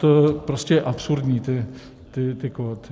To prostě je absurdní, ty kvóty.